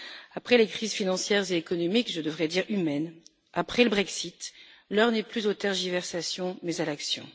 Après les crises financières et économiques, je devrais dire humaines, après le Brexit, l'heure n'est plus aux tergiversations, mais à l'action.